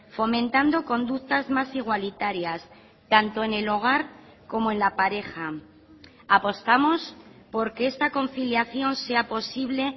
fomentando conductas más igualitarias tanto en el hogar como en la pareja apostamos por que esta conciliación sea posible